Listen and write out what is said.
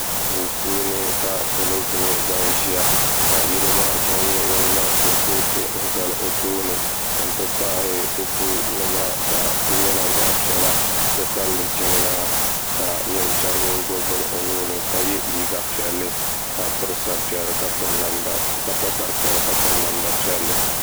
Duu puuni ka salo kuli nyɛ ban ʒia ka yino maa chen zaŋ kurupotu n zali o tooni n ti pahi kopu nima ka di nyɛla zaɣa piɛla titabili jiŋlaa ka o chen nyɛ ŋun gbibi bini o nuuni ka ye liiga piɛlli ka pa sari piɛlli ka piri namda piɛlli.